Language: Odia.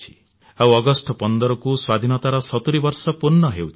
ଆଉ ଅଗଷ୍ଟ 15କୁ ସ୍ୱାଧୀନତାର 70 ବର୍ଷ ପୂର୍ଣ୍ଣ ହେଉଛି